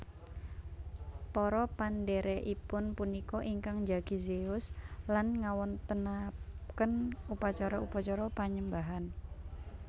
Para pendhèrèkipun punika ingkang njagi Zeus lan ngawontenaken upacara upacara panyembahan